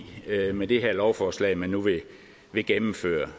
med det her lovforslag man nu vil gennemføre